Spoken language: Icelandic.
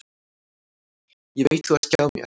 Ég veit þú ert hjá mér.